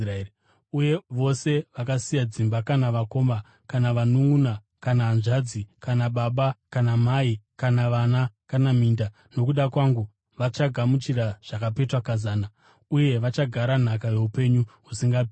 Uye vose vakasiya dzimba, kana vakoma kana vanunʼuna kana hanzvadzi kana baba kana mai kana vana kana minda nokuda kwangu vachagamuchira zvakapetwa kazana, uye vachagara nhaka youpenyu husingaperi.